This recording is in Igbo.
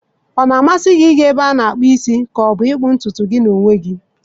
Ọ na-amasị gị ịga na-ebe ana akpu isi ma ọ bụ ịkpụ ntutu gị na onwe gi?